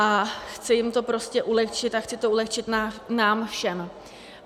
A chci jim to prostě ulehčit a chci to ulehčit nám všem.